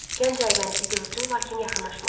Gənc Aybənizi gördü, lakin yaxınlaşmadı.